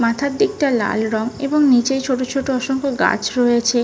মাথার দিকটা লাল রং এবং নিচে ছোট ছোট অসংখ্য গাছ রয়েছে।